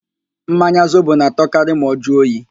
Mmanya Zobo na-atọkarị ma ọ jụọ oyi